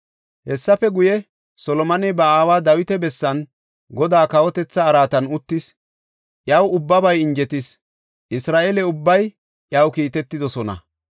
Hessafe guye, Solomoney ba aawa Dawita bessan Godaa kawotetha araatan uttis. Iyaw ubbabay injetis; Isra7eele ubbay iyaw kiitetidosona.